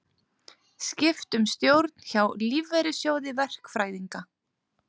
Skipt um stjórn hjá Lífeyrissjóði verkfræðinga